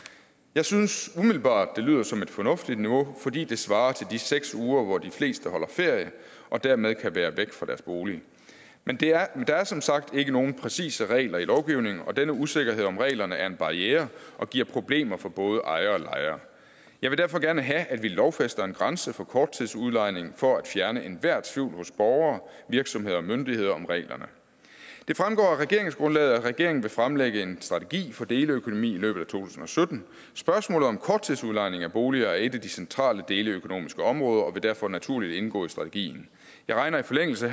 jeg synes umiddelbart det lyder som et fornuftigt niveau fordi det svarer til de seks uger hvor de fleste holder ferie og dermed kan være væk fra deres bolig men der er som sagt ikke nogen præcise regler i lovgivningen og denne usikkerhed om reglerne er en barriere og giver problemer for både ejere og lejere jeg vil derfor gerne have at vi lovfæster en grænse for korttidsudlejning for at fjerne enhver tvivl hos borgere virksomheder og myndigheder det fremgår af regeringsgrundlaget at regeringen vil fremlægge en strategi for deleøkonomi i løbet af to tusind og sytten spørgsmålet om korttidsudlejning af boliger er et af de centrale deleøkonomiske områder og vil derfor naturligt indgå i strategien jeg regner i forlængelse